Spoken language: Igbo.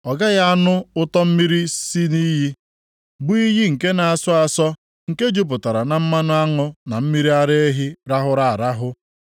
Ọ gaghị anụ ụtọ mmiri si nʼiyi, bụ iyi nke na-asọ asọ nke jupụtara na mmanụ aṅụ na mmiri ara ehi rahụrụ arahụ.